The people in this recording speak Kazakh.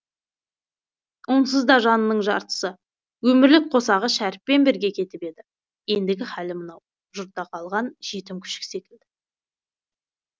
онсызда жанының жартысы өмірлік қосағы шәріппен бірге кетіп еді ендігі халі мынау жұртта қалған жетім күшік секілді